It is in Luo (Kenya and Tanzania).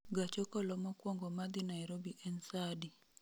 Gach okolo mokuongo madhi Nairobi en saa adi